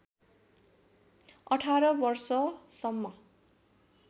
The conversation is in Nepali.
१८ वर्षसम्म